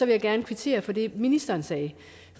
jeg gerne kvittere for det ministeren sagde